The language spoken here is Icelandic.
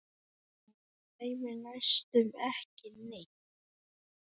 Mig dreymir næstum ekki neitt.